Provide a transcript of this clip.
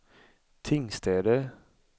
Tingstäde